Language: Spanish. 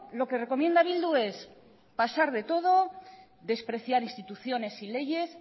lo que recomienda bildu es pasar de todo despreciar instituciones y leyes